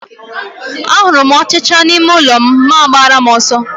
A hụrụ m ọchịchịa n'ime ụlọ m ma agbara m ọsọ